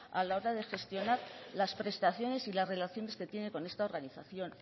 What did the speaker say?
a la hora de gestionar las prestaciones y las relaciones que tiene con esta organización